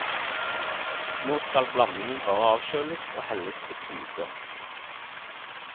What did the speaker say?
Nå skal blandingen bare avkjøles og helles på tube.